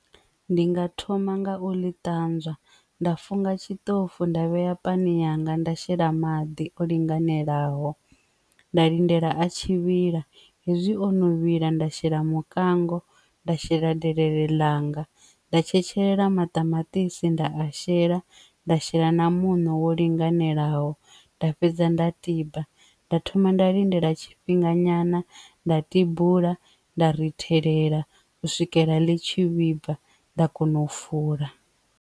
Ndi nga thoma nga u ḽi ṱanzwa nda funga tshiṱoko nda vhea pani yanga nda shela maḓi o linganelaho nda lindela a tshi vhila hezwi o no vhila nda shela mukango nda shela delele langa nda tshetshelesa maṱamaṱisi nda a shela nda shela na muṋo wo linganelaho nda fhedza nda tiba nda thoma nda lindela tshifhinga nyana nda tibula nda ri thevhela u swikela ḽi tshi vhibva nda kona u fula.